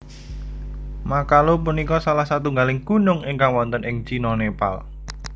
Makalu punika salah satunggaling gunung ingkang wonten ing Cina Nepal